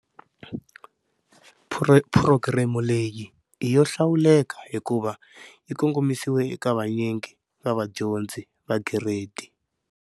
Phurogireme leyi i yo hlawuleka hikuva yi kongomisiwile eka vanyingi va vadyondzi va Giredi.